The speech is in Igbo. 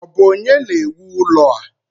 Ọ bụ onye na-ewu ụlọ a?